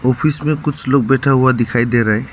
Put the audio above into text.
Office में कुछ लोग बैठा हुआ दिखाई दे रहा है।